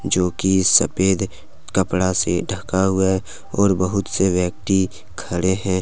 जोकि सफेद कपड़ा से ढका हुआ है और बहुत से व्यक्ति खड़े हैं।